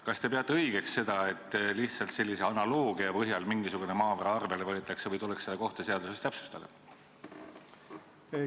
Kas te peate õigeks seda, et lihtsalt sellise analoogia põhjal mingisugune maavara arvele võetakse, või tuleks seda kohta seaduses täpsustada?